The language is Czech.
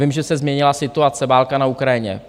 Vím, že se změnila situace, válka na Ukrajině.